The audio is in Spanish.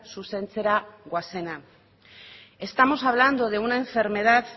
zuzentzera goazena estamos hablando de una enfermedad